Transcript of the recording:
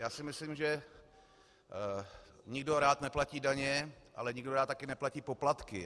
Já si myslím, že nikdo rád neplatí daně, ale nikdo rád také neplatí poplatky.